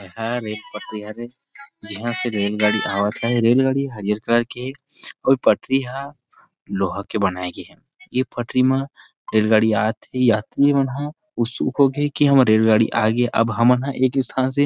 हर एक पटरी हरे यहाँ से रेल गाड़ी आत हे रेल गाड़ी हरियर कलर के और पटरी हा लोहा के बनाय गे हे ये पटरी मा रेल गाड़ी आत हे यात्री मन ह उत्सुक होगे हे कि अब हम एक ही स्थान से --